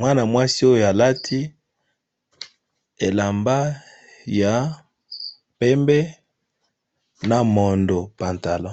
mwana mwasi oyo alati elamba ya pembe na pantalo ya mosaka